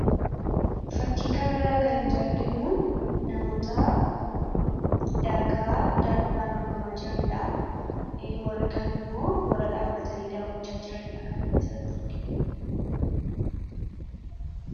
Fakkii kana irratti kan nuti arginu, namoota daakaa daakuudhaan dorgomaa jiraniidha. Warri kaan immoo warra dhaabbatanii daawwachaa jiraniidha.